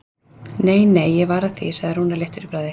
Nei, nei, var ég að því, sagði Rúnar léttur í bragði.